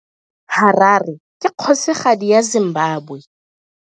Harare ke kgosigadi ya Zimbabwe.